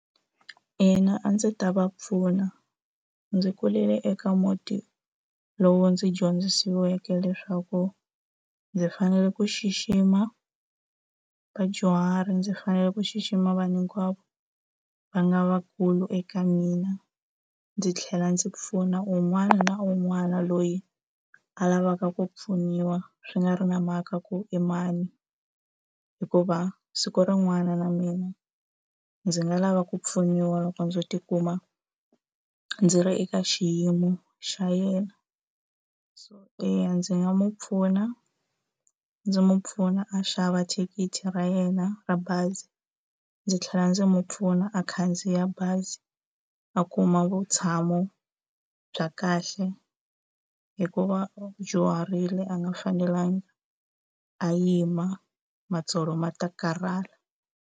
Ina a ndzi ta va pfuna. Ndzi kulele eka muti lowu ndzi dyondzisiweke leswaku ndzi fanele ku xixima vadyuhari, ndzi fanele ku xixima vanhu hinkwavo va nga vakulu eka mina, ndzi tlhela ndzi pfuna un'wana na un'wana loyi a lavaka ku pfuniwa swi nga ri na mhaka ku i mani. Hikuva siku rin'wana na mina ndzi nga lava ku pfuniwa loko ndzo tikuma ndzi ri eka xiyimo xa yena. So eya ndzi nga n'wi pfuna, ndzi n'wi pfuna a xava thikithi ra yena ra bazi. Ndzi tlhela ndzi n'wi pfuna a khandziya bazi a kuma vutshamo bya kahle, hikuva a dyuharile a nga fanelangi a yima, matsolo ma ta karhala.